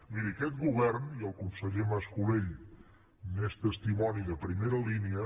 miri aquest govern i el conseller mas colell n’és testimoni de primera línia